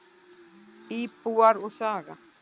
Íbúar og saga.